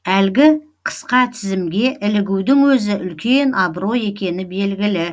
әлгі қысқа тізімге ілігудің өзі үлкен абырой екені белгілі